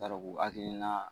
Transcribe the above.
u hakilina